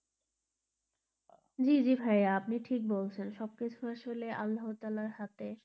জী জী ভাইয়া আপনি ঠিক বলছেন, সব কিছু আসলে আল্লাহ তালার হাতে.